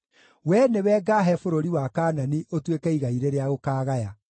“Wee nĩwe ngaahe bũrũri wa Kaanani ũtuĩke igai rĩrĩa ũkaagaya.”